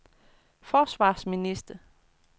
forsvarsminister